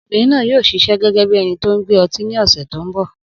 Obìnrin náà yóò ṣiṣẹ́ gẹ́gẹ́ bí ẹni tó n gbé ọtí ni ọ̀sẹ̀ tó n bọ̀